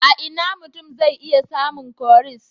A ina mutum zai iya samun cowries?